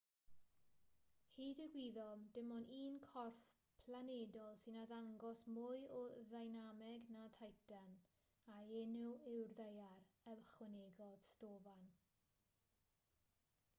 hyd y gwyddom dim ond un corff planedol sy'n arddangos mwy o ddeinameg na titan a'i enw yw'r ddaear ychwanegodd stofan